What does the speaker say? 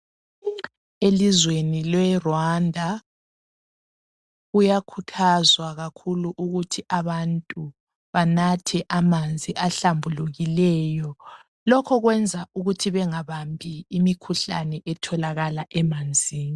Elizweni leRwanda kuyakhuthazwa kakhulu ukuthi abantu banathe amanzi ahlambulukileyo lokho kwenza ukuthi bengabambi imikhuhlane etholakala emanzini.